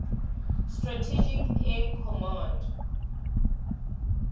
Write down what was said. strategic air command